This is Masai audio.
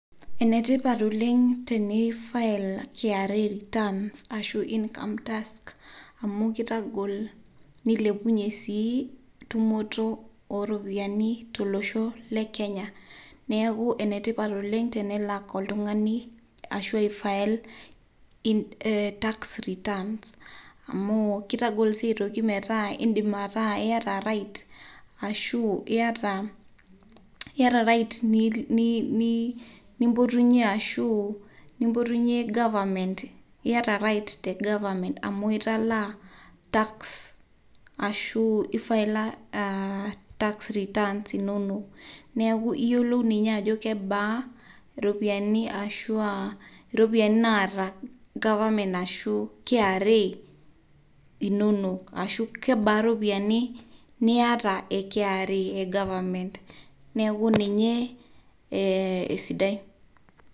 Enetipat oleng teneeifail KRA returns ashu income tax amu keitagol neilepunye sii ntumoto ooropiyiani to loshoo le Kenya ,neaku enetipat oleng tenelak oltungani ashu aifail tax returns amu keitagol sii aitoki metaa indim ataa iata right ashuu ieta right te government amu italaa tax ashuu ifaila tax returns inono neaku iyolou ninye ajo kebaa ropiyiani naata government ashuu KRA inono, ashu kebaa iropiyiani nieta e KRA e government neaku ninye esidai.